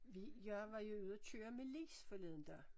Vi jeg var jo ude og køre med Lis forleden dag